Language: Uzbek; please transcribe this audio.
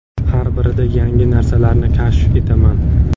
Har birida yangi narsalarni kashf etaman.